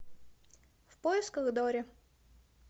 в поисках дори